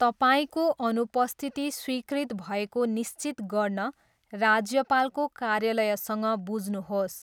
तपाईँको अनुपस्थिति स्वीकृत भएको निश्चित गर्न राज्यपालको कार्यालयसँग बुझ्नुहोस्।